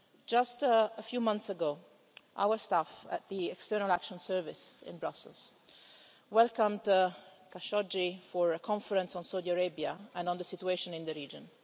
Just a few months ago, our staff at the External Action Service in Brussels welcomed Jamal Khashoggi for a conference on Saudi Arabia and on the situation in the region.